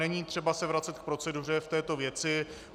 Není třeba se vracet k proceduře v této věci.